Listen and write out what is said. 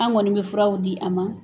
An kɔni bɛ furaw di a ma.